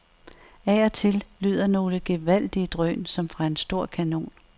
Af og til lyder nogle gevaldige drøn, som fra en stor kanon.